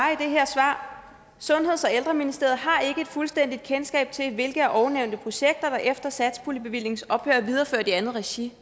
i det her svar sundheds og ældreministeriet har ikke et fuldstændig kendskab til hvilke af ovennævnte projekter der efter satspuljebevillingens ophør er videreført i andet regi